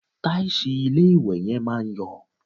Tàìsì ilé-ìwẹ̀ yẹn máa ń yọ̀